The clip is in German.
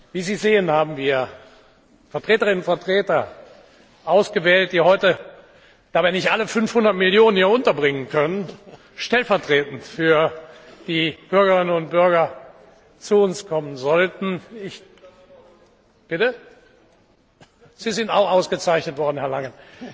Wie Sie sehen, haben wir Vertreterinnen und Vertreter ausgewählt, die heute da wir nicht alle 500 Millionen hier unterbringen können stellvertretend für die Bürgerinnen und Bürger zu uns kommen sollten. Sie sind auch ausgezeichnet worden, Herr Langen,